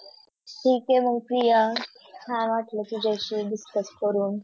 ठी आहे मग प्रिया छान वाटलं तुझ्याशी Discuss करून